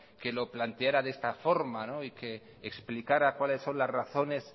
que lo planteara de esta forma y que explicará cuáles son las razones